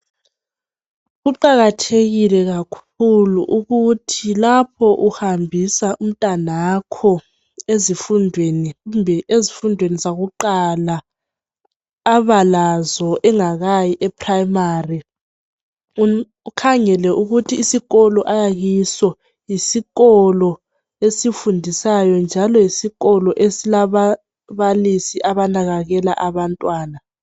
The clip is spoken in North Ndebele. Kuqakathekule kakhulu ukuthi lapho uhambisa umntanakho ezifundweni kumbe ezifundweni zakuqala abalazo engakayi eprimary, ukhangele ukuthi isikolo ayakiso yisikolo esifundisayo njalo yisikolo esilabababalisi abanakakela abantwana.